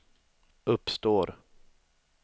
uppstår